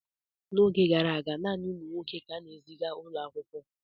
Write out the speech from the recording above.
N’oge gara aga, naanị ụmụ nwoke ka a na-eziga ụlọ akwụkwọ.